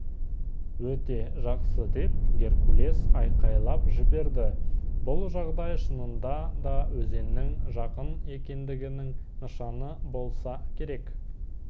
өте жақсы деп геркулес айқайлап жіберді бұл жағдай шынында да өзеннің жақын екендігінің нышаны болса керек